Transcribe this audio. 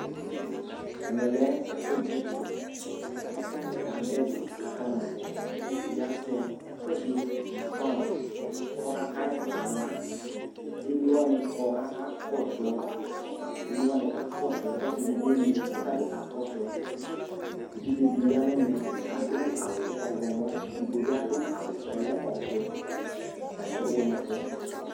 Ɛmɛ lɛvɛfʊ ɗʊ ɛdɩ, ataŋɩ kadʊ ɛdɩ ƙaƙa mɔ Ʊʋɩɗɩ azɛ ɛƙʊɛdi mʊ tʊwɛɩ ƙɔƙaƴɩ ƙɔƙa la, ƙemlo waŋɩ ƙɔ ƙaƙa ƙɔsʊ Emlo wani ka kɔsʊ kɔsɩ dibi emlɩ kɔka ƙɔsʊ Eʋɩɖze dɩ ƴa ŋʊvɛmɛ ƙadʊ awʊ ɔwlɔmɔ Edigbo ɓɩvadʊ awʊ kɔlɛ ɔʋɛ Ataŋɩ aɓʊ ŋʊ ɛfʊɛ